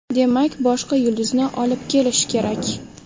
Demak, boshqa yulduzni olib kelish kerak.